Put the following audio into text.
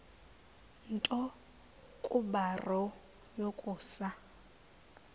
nto kubarrow yokusa